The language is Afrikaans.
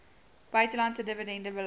buitelandse dividende belas